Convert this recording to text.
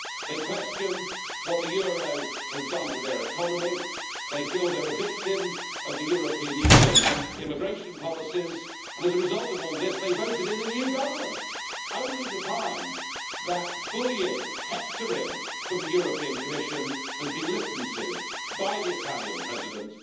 They question what the euro has done to their economy, they feel they are a victim of the European Union's immigration policies and, as a result of all this, they voted in a new government, only to find that bullying and hectoring from the European Commission has been listened to by the Italian President.